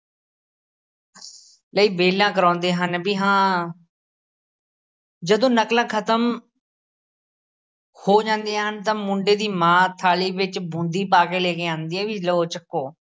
ਲਈ ਬੇਲਾਂ ਕਰਾਉਂਦੇ ਹਨ, ਬਈ ਹਾਂ ਜਦੋਂ ਨਕਲਾਂ ਖਤਮ ਹੋ ਜਾਂਦੀਆਂ ਹਨ ਤਾਂ ਮੁੰਡੇ ਦੀ ਮਾਂ ਥਾਲੀ ਵਿੱਚ ਬੂੰਦੀ ਪਾ ਕੇ ਲੈ ਕੇ ਆਉਂਦੀ ਹੈ, ਬਈ ਲਓ ਚੁੱਕੋ।